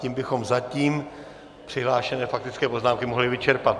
Tím bychom zatím přihlášené faktické poznámky mohli vyčerpat.